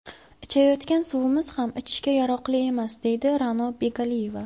Ichayotgan suvimiz ham ichishga yaroqli emas”, deydi Ra’no Begaliyeva.